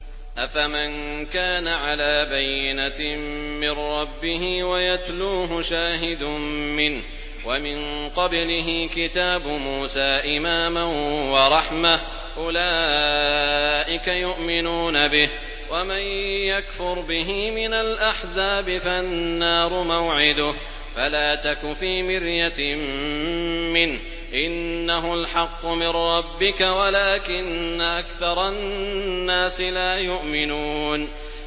أَفَمَن كَانَ عَلَىٰ بَيِّنَةٍ مِّن رَّبِّهِ وَيَتْلُوهُ شَاهِدٌ مِّنْهُ وَمِن قَبْلِهِ كِتَابُ مُوسَىٰ إِمَامًا وَرَحْمَةً ۚ أُولَٰئِكَ يُؤْمِنُونَ بِهِ ۚ وَمَن يَكْفُرْ بِهِ مِنَ الْأَحْزَابِ فَالنَّارُ مَوْعِدُهُ ۚ فَلَا تَكُ فِي مِرْيَةٍ مِّنْهُ ۚ إِنَّهُ الْحَقُّ مِن رَّبِّكَ وَلَٰكِنَّ أَكْثَرَ النَّاسِ لَا يُؤْمِنُونَ